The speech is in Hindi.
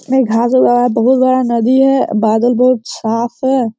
ये बहोत बड़ा नदी है बादल बहोत साफ है।